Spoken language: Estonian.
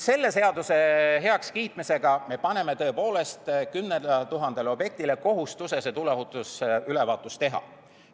Selle seaduse heakskiitmisega me paneme tõepoolest kohustuse 10 000 objektil see tuleohutusülevaatus teha.